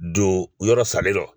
Don yɔrɔ salen rɔ